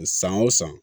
San o san